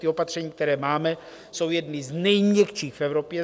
Ta opatření, která máme, jsou jedny z nejměkčích v Evropě.